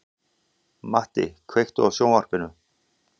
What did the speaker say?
Matti, kveiktu á sjónvarpinu.